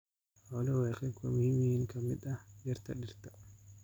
Xooluhu waa qayb muhiim ah oo ka mid ah dhirta dhirta.